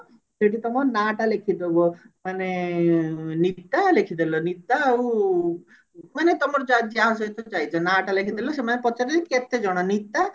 ସେଠି ତମ ନାଟା ଲେଖି ଦବ ମାନେ ନିକିତା ଲେଖି ଦେଲ ନିତା ଆଉ ମାନେ ତମର ଯା ଯାହା ସହିତ ଯାଇଛ ନା ଟା ଲେଖିଦେଲ ସେମାନେ ପଚାରିବେ କେତେଜଣ ନିତା